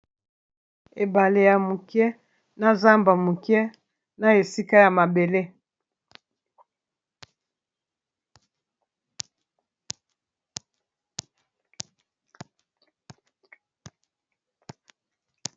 Ebale ya mokie na zamba mokie, na esika ya mabele.